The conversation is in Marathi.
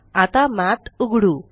आता मठ उघडू